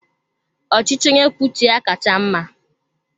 Ọchịchị onye kwuo uche ya kacha mma.